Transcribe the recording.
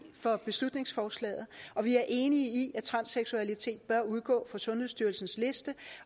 for beslutningsforslaget og vi er enige i at transseksualitet bør udgå fra sundhedsstyrelsens liste